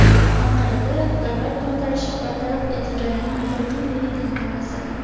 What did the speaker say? Anqarada davlat to‘ntarishi bartaraf etilganining bir yilligi tantanasi.